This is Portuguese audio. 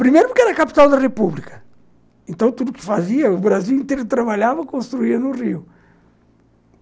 Primeiro porque era a capital da república, então o Brasil inteiro trabalhava e construía no Rio.